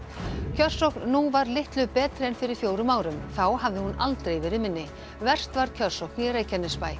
kjörsókn nú var litlu betri en fyrir fjórum árum þá hafði hún aldrei verið minni verst var kjörsókn í Reykjanesbæ